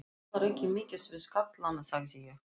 Þú talar ekki mikið við kallana, sagði ég.